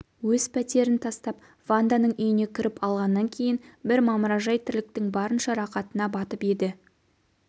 өз пәтерін тастап ванданың үйіне кіріп алғаннан кейін бір мамыражай тірліктің барынша рақатына батып еді